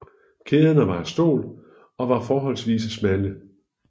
Kæderne var af stål og var forholdsvis smalle